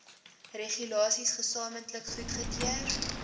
regulasies gesamentlik goedgekeur